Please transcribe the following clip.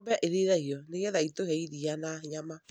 ng'ombe irĩithagio nĩ getha itũhe iria na nyama.